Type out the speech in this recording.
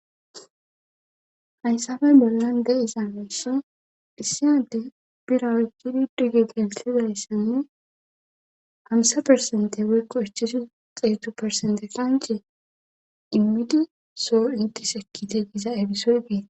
haysafe bollan de'iza mishe dhissiyade bira woykkidi dige geelsizayssanne hamusa persente woykko ichashu xeetu persente qance immidi soo intis ekkite giza efisoy geeta